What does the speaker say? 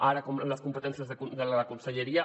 ara com que les competències de la conselleria